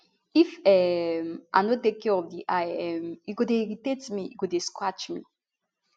if um i no take care of di eye um e go dey irritate me e go dey scratch me